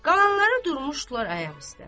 Qalanları durmuşdular ayaq üstə.